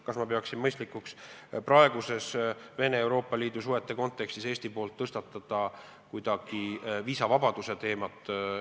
Kas ma pean mõistlikuks, et Eesti tõstatab praeguses Venemaa ja Euroopa Liidu suhete kontekstis kuidagi viisavabaduse teema?